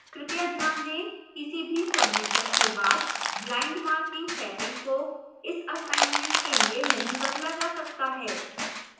कृपया ध्यान दें